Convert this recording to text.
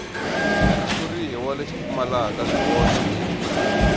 xitshuriwa lexi pfumalaka swihoxo hi